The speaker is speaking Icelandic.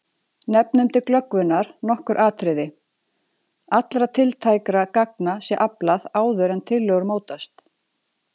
Nefnum til glöggvunar nokkur atriði: Allra tiltækra gagna sé aflað áður en tillögur mótast.